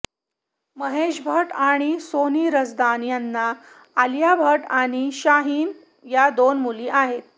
महेश भट्ट आणि सोनी रझदान यांना आलिया भट्ट आणि शाहीन या दोन मुली आहेत